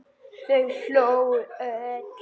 Þau hlógu öll.